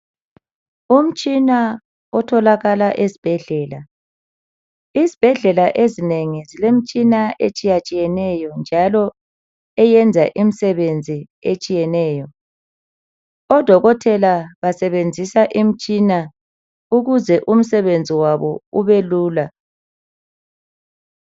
Umtshina otholakala ezibhedlela . Izbhedlela ezinengi zilemtshina etshiya tshiyeneyo njalo eyenza imsebenzi etshiyeneyo. Odokotela basebenzisa Imtshina ukuze umsebenzi wabo ubelula .